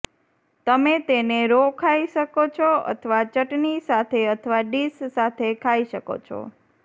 તમે તેને રો ખાઈ શકો છો અથવા ચટની સાથે અથવા ડિશ સાથે ખાઈ શકો છો